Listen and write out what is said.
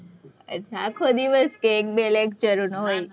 આખો દિવસ કે એક બે lecture નો હોય,